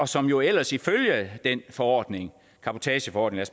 som jo ellers ifølge den forordning cabotageforordningen